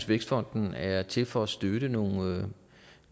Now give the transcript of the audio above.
vækstfonden er til for at støtte nogle